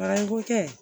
Barako kɛ